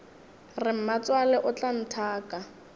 re mmatswale o tla nthaka